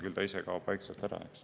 Küll ta ise vaikselt ära kaob.